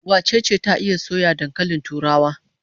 Wace ce ta iya soya dankalin turawa?